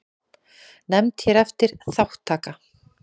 Nefnd hér eftir: Þátttaka.